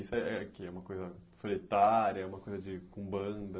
Isso é que é uma coisa solitária, é uma coisa de com banda?